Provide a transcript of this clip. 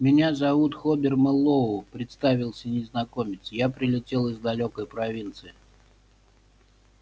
меня зовут хобер мэллоу представился незнакомец я прилетел из далёкой провинции